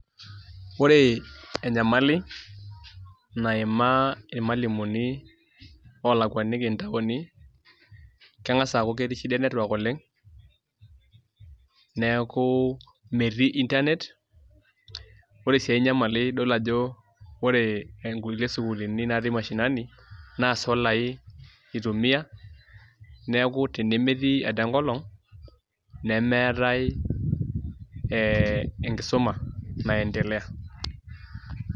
Ore enyamali naimaa irmalimuni oolakuaniki ntaoni keng'as aaku ketii shida e network oleng' neeku metii internet, ore sii ai nyamali idol ajo ore nkulie sukuulini naatii mashinani naa solai itumia neeku tenemetii ade enkolong' nemeetai ee enkisuma naiendelea.